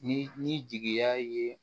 Ni ni jigiya ye